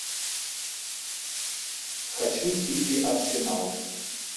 хочу сити арсенал